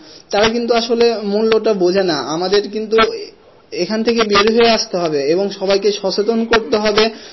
তারা কিন্তু আসলে মূল্যটা বোঝেনা আমাদের কিন্তু এ~এখান থেকে তে আসতে হবে এবং সবাইকে সচেতন করতে হবে,